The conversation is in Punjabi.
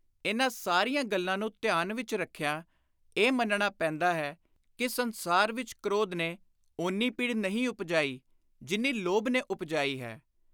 ਇਨ੍ਹਾਂ ਸਾਰੀਆਂ ਗੱਲਾਂ ਨੂੰ ਧਿਆਨ ਵਿਚ ਰੱਖਿਆਂ ਇਹ ਮੰਨਣਾ ਪੈਂਦਾ ਹੈ ਕਿ ਸੰਸਾਰ ਵਿਚ ਕ੍ਰੋਧ ਨੇ ਓਨੀ ਪੀੜ ਨਹੀਂ ਉਪਜਾਈ ਜਿੰਨੀ ਲੋਭ ਨੇ ਉਪਜਾਈ ਹੈ।